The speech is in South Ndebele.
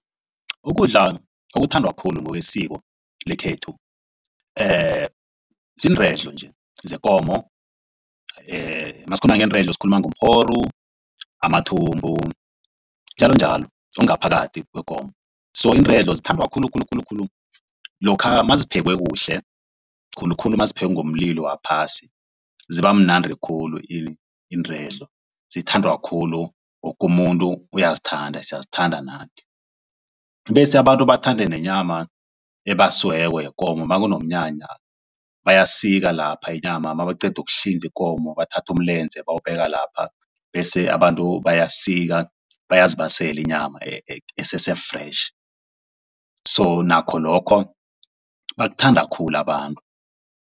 Ukudla okuthandwa khulu ngokwesiko lekhethu ziinredlo nje zekomo. Nasikhuluma ngeenredlo sikhuluma ngomrhoru, amathumbu njalonjalo okungaphakathi kwekomo so iiredlo zithandwa khulu khulu khulu khulu. Lokha maziphekwe kuhle khulukhulu naziphekwe ngomlilo waphasi ziba mnandi khulu iinredlo zithandwa khulu wokumuntu uyazithanda siyazithanda nathi. Bese abantu bathande nenyama ebasiweko yekomo makunomnyanya bayasika lapha inyama nabaqeda ukuhlinza ikomo bathathe umlenze bawubeka lapha bese abantu bayasika bayazibasela inyama esese-fresh so nakho lokho bakuthanda khulu abantu.